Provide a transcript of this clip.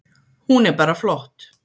Hún er bara flott.